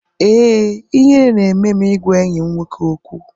Ee, ihere na-eme m ịgwa enyi m nwoke okwu.